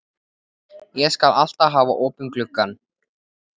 Ég skal alltaf hafa opinn gluggann.